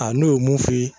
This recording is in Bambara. A n'o ye mun f'i ye